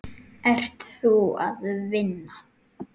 Ert þú að vinna?